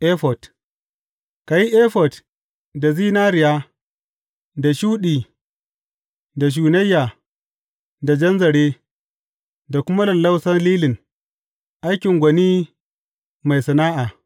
Efod Ka yi efod da zinariya, da shuɗi, da shunayya, da jan zare, da kuma lallausan lilin, aikin gwani mai sana’a.